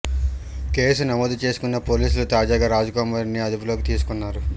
case నమోదు చేసుకున్న పోలీసులు తాజాగా రాజ్ కుమార్ ని అదుపులోకి తీసుకున్నాడు